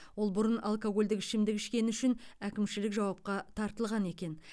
ол бұрын алкогольдік ішімдік ішкені үшін әкімшілік жауапқа тартылған екен